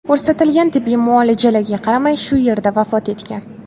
ko‘rsatilgan tibbiy muolajalarga qaramay, shu yerda vafot etgan.